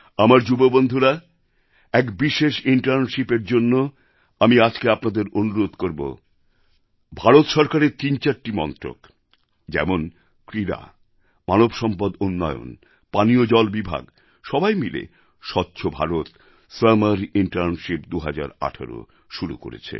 আমার যুব বন্ধুরা এক বিশেষ internshipএর জন্য আমি আজকে আপনাদের অনুরোধ করবো ভারত সরকারের তিনচারটি মন্ত্রক যেমন ক্রীড়া মানবসম্পদ উন্নয়ন পানীয় জল বিভাগ সবাই মিলে স্বচ্ছ ভারত সামার ইন্টার্নশিপ ২০১৮ শুরু করেছে